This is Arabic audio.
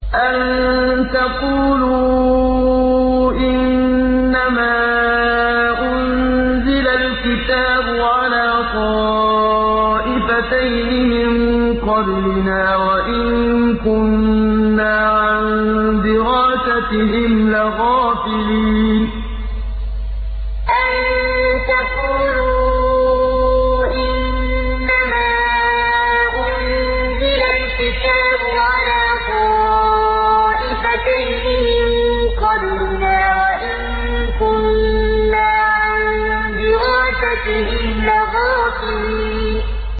أَن تَقُولُوا إِنَّمَا أُنزِلَ الْكِتَابُ عَلَىٰ طَائِفَتَيْنِ مِن قَبْلِنَا وَإِن كُنَّا عَن دِرَاسَتِهِمْ لَغَافِلِينَ أَن تَقُولُوا إِنَّمَا أُنزِلَ الْكِتَابُ عَلَىٰ طَائِفَتَيْنِ مِن قَبْلِنَا وَإِن كُنَّا عَن دِرَاسَتِهِمْ لَغَافِلِينَ